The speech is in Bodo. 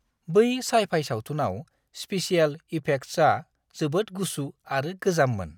बै सइ-फाइ सावथुनाव स्पेसियेल इफेक्ट्सआ जोबोद गुसु आरो गोजाममोन!